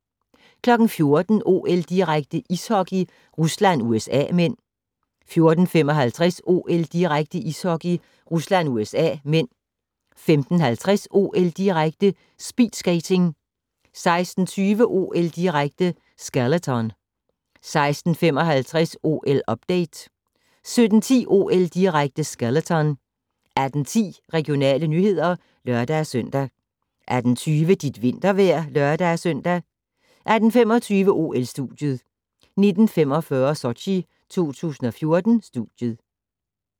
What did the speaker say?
14:00: OL-direkte: Ishockey - Rusland-USA (m) 14:55: OL-direkte: Ishockey - Rusland-USA (m) 15:50: OL-direkte: Speedskating 16:20: OL-direkte: Skeleton 16:55: OL-update 17:10: OL-direkte: Skeleton 18:10: Regionale nyheder (lør-søn) 18:20: Dit vintervejr (lør-søn) 18:25: OL-studiet 19:45: Sochi 2014 studiet